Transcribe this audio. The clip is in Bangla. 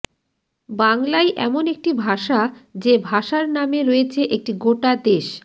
বাংলাই এমন একটি ভাষা যে ভাষার নামে রয়েছে একটি গোটা দেশ